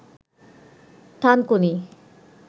থানকুনি